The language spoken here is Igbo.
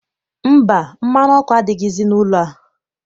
Mba, mmanụ ọkụ adighịzi n'ụlọ a.